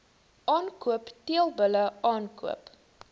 aankoop teelbulle aankoop